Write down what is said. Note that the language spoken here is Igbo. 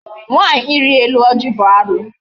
Nwaanyị ili elu ọjị bụ alụ.